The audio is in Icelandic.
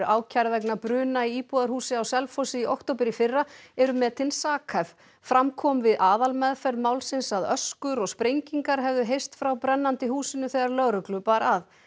ákærð vegna bruna í íbúðarhúsi á Selfossi í október í fyrra eru metin sakhæf fram kom við aðalmeðferð málsins að öskur og sprengingar hefðu heyrst frá brennandi húsinu þegar lögreglu bar að